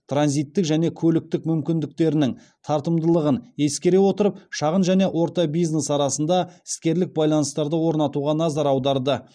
транзиттік және көліктік мүмкіндіктерінің тартымдылығын ескере отырып шағын және орта бизнес арасында іскерлік байланыстарды орнатуға назар аударды